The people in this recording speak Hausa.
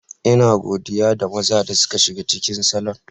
Ina godiya ga maza da suka shiga cikin salon.